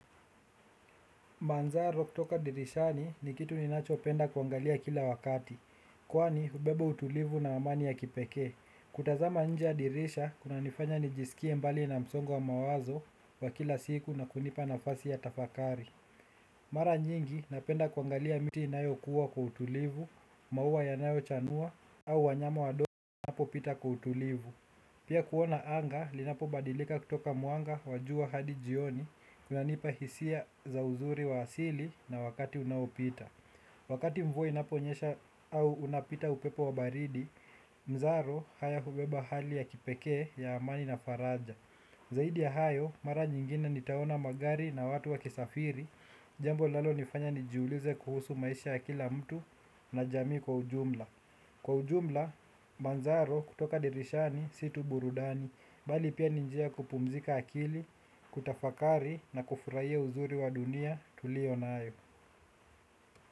Manzaro kutoka dirishani ni kitu ninachopenda kuangalia kila wakati, kwani hubeba utulivu na amani ya kipekee. Kutazama nje ya dirisha, kunanifanya nijisikie mbali na msongo mawazo wa kila siku na kunipa nafasi ya tafakari. Mara nyingi, napenda kuangalia miti inayokuwa kwa utulivu, maua yanayochanua, au wanyama wadogo wanapopita kwa utulivu. Pia kuona anga, linapobadilika kutoka mwanga wa jua hadi jioni, kunanipa hisia za uzuri wa asili na wakati unaopita. Wakati mvua inaponyesha au unapita upepo wa baridi, mzaro haya hubeba hali ya kipekee ya amani na faraja. Zaidi ya hayo, mara nyingine nitaona magari na watu wakisafiri, jambo linalonifanya nijiulize kuhusu maisha ya kila mtu na jamii kwa ujumla. Kwa ujumla, manzaro kutoka dirishani si tu burudani, bali pia ni njia ya kupumzika akili, kutafakari na kufurahia uzuri wa dunia tulio nayo.